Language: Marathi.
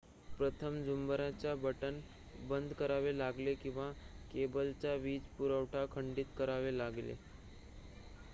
प्रथम झुंबराचे बटण बंद करावे लागले किंवा केबलचा वीजपुरवठा खंडीत करावा लागेल